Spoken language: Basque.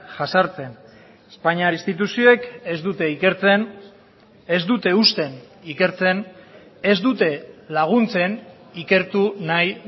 jazartzen espainiar instituzioek ez dute ikertzen ez dute uzten ikertzen ez dute laguntzen ikertu nahi